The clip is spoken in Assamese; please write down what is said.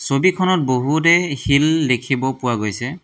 ছবিখনত বহুতেই শিল দেখিব পোৱা গৈছে।